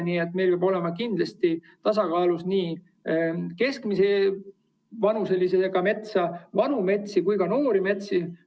Nii et meil peavad olema kindlasti tasakaalus keskmise vanusega metsad, vanad metsad ja noored metsad.